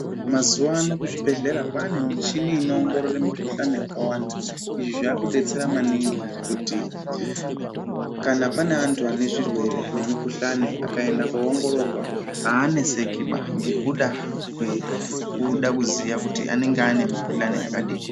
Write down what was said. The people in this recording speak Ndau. Mazuwa ano kuzvibhedhlera kwaane michini inoongorora mikhuhlani yakawanda izvi zvakudetsera maningi kuti kana pane antu ane zvurwerw nemikhuhlani vakaende koongororwa avanesekiba ngekuda kwekuda kuziya kuti anenge ane mikhuhlani yakadini.